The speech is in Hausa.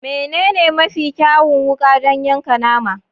Menene mafi kyawun wuƙa don yanka nama?